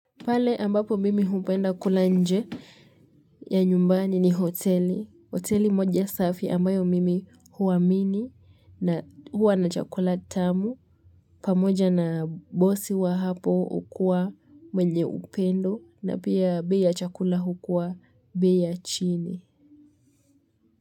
Pale ambapo mimi hupenda kula nje ya nyumbani ni hoteli, hoteli moja safi ambayo mimi huwaamini na huwa na chakula tamu pamoja na bosi wa hapo hukuwa mwenye upendo na pia bei ya chakula hukuwa bei ya chini.